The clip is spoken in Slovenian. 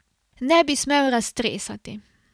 Ne bi smel raztresati.